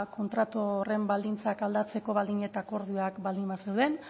kontratu horren baldintzak aldatzeko baldin eta akordioak baldin bazeuden